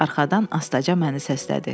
Arxadan astaca məni səslədi.